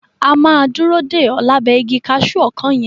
A máa dúró dè o lábẹ́ igi kaṣu ọkán yẹn.